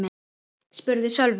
spurði Sölvi.